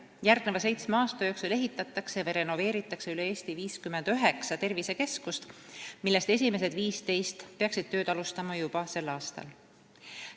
Järgneva seitsme aasta jooksul ehitatakse või renoveeritakse üle Eesti 59 tervisekeskust, millest esimesed 15 peaksid tööd alustama juba sel aastal.